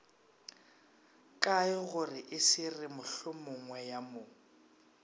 kaegore e se re mohlomongweyamo